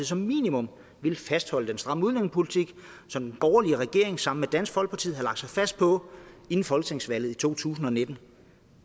som minimum ville fastholde den stramme udlændingepolitik som den borgerlige regering sammen med dansk folkeparti havde lagt sig fast på inden folketingsvalget i to tusind og nitten